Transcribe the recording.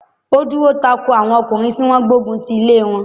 He dúró tako àwọn ọkùnrin tí wọ́n gbógun ti ilé wọn.